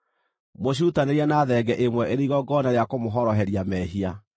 Mũcirutanĩrie na thenge ĩmwe ĩrĩ igongona rĩa kũmũhoroheria mehia.